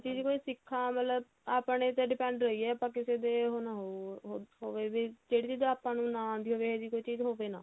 ਚੀਜ਼ ਸਿੱਖਾਂ ਮਤਲਬ ਆਪਣੇ ਤੇ depend ਰਹੀਏ ਕਿਸੇ ਤੇ ਉਹ ਨਾ ਹੋ ਹੋਵੇ ਵੀ ਜਿਹੜੀ ਚੀਜ਼ ਆਪਾਂ ਨੂੰ ਨਾ ਆਉਂਦੀ ਹੋਵੇ ਇਹੋ ਜਿਹੀ ਚੀਜ਼ ਹੋਵੇ ਨਾ